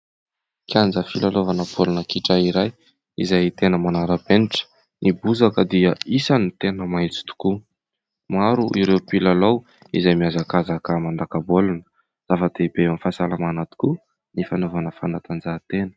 Kianja filalaovana baolina kitra iray izay tena manara-penitra, ny bozaka dia isany tena maintso tokoa, maro ireo mpilalao izay miazakazaka mandaka baolina. Zava-dehibe amin'ny fahasalamana tokoa ny fanaovana fanadanjahantena.